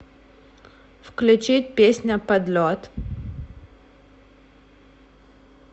включить песня под лед